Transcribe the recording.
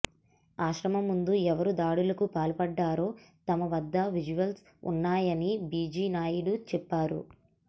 ఆశ్రమం ముందు ఎవరు దాడులకు పాల్పడ్డారో తమ వద్ద విజువల్స్ ఉన్నాయని బీజీ నాయుడు చెప్పారు